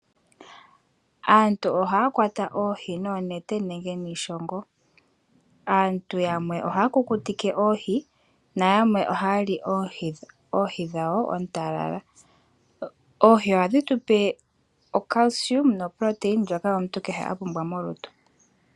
Aantu ohaya kwata oohi noonete nenge niishongo. Aantu yamwe ohaya kukutike oohi na yamwe ohaya li oohi dhawo oontalala. Oohi ohadhi tupe ocalcium noprotein ndjoka omuntu kehe a pumbwa molutu.